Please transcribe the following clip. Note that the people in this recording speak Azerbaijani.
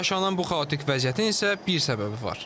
Yaşanan bu xaotik vəziyyətin isə bir səbəbi var.